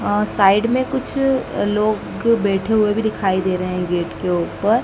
और साइड में कुछ लोग बैठे हुए भी दिखाई दे रहे हैं गेट के ऊपर--